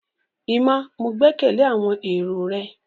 Emma, ​​Mo gbẹkẹle awọn ero rẹ